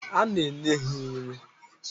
Ana enye ha nri.